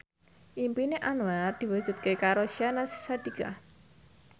impine Anwar diwujudke karo Syahnaz Sadiqah